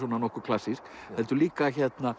nokkuð klassísk heldur líka